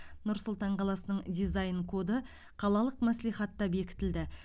нұр сұлтан қаласының дизайн коды қалалық мәслихатта бекітілді